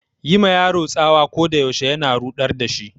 Yi ma yaro tsawa ko da yaushe na ruɗar da shi.